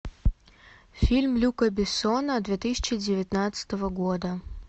фильм люка бессона две тысячи девятнадцатого года